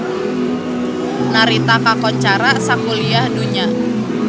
Narita kakoncara sakuliah dunya